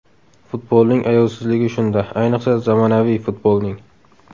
Futbolning ayovsizligi shunda, ayniqsa zamonaviy futbolning.